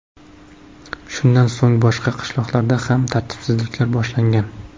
Shundan so‘ng boshqa qishloqlarda ham tartibsizliklar boshlangan.